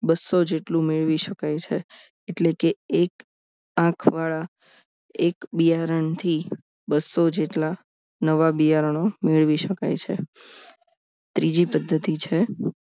બસો જેટલું મેળવી શકાય છે એટલે કે એક આંખ બિયારણ થી બસો જેટલા નવા બિયારણો મેળવી શકાય છે ત્રીજી પદ્ધતિ છે